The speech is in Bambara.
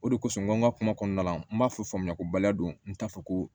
O de kosɔn n ko n ka kuma kɔnɔna la n b'a fɔ faamuyako baliya don n t'a fɔ ko